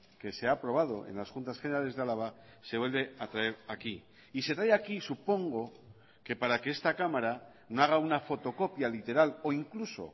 que se ha aprobado en las juntas generales de álava se vuelve a traer aquí y se trae aquí supongo que para que esta cámara no haga una fotocopia literal o incluso